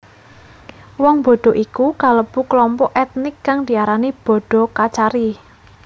Wong Bodo iku kalebu klompok ètnik kang diarani Bodo Kachari